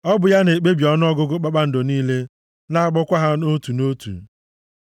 Ọ bụ ya na-ekpebi ọnụọgụgụ kpakpando niile na-akpọkwa ha nʼotu na otu. + 147:4 \+xt Aịz 40:26\+xt*